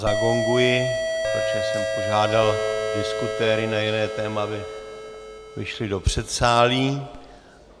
Zagonguji, protože jsem požádal diskutéry na jiné téma, aby odešli do předsálí.